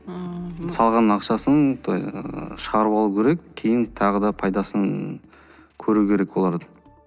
ыыы салған ақшасын ы шығарып алу керек кейін тағы пайдасын көру керек олар